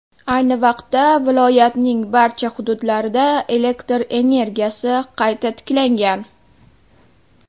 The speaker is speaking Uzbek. Ayni vaqtda viloyatning barcha hududlarida elektr energiyasi qayta tiklangan.